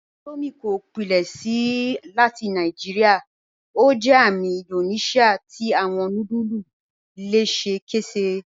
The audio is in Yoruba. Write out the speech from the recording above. Indomie kò pílẹ̀ṣẹ́ láti Naijíríà; ó jẹ́ àmì Índóníṣíà tí awọn núdùlù lẹ́sẹkẹ́sẹ́.